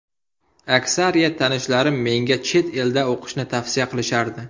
Aksariyat tanishlarim menga chet elda o‘qishni tavsiya qilishardi.